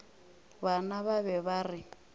bona ba be ba re